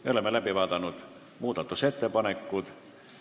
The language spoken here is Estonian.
Me oleme muudatusettepanekud läbi vaadanud.